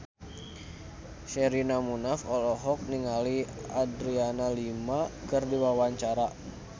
Sherina Munaf olohok ningali Adriana Lima keur diwawancara